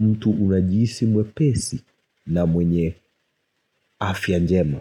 mtu unajihisi mwepesi na mwenye afya njema.